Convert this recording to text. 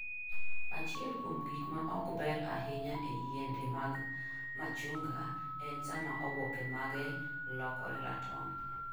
Achiel kuom gik ma ok ber ahinya e yiende mag machunga en sama oboke mage lokore ratong.